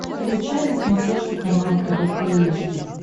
включай на смотрешке канал тв три эйч ди